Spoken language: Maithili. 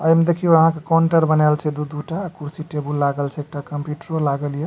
एमें देखियो आहां के काउंटर बनाल छै दू-दू टा कुर्सी टेबुल लागल छै एकटा कंप्यूटरो लागल या।